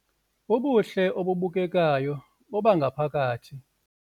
Ubuhle obubukekayo bobangaphakathi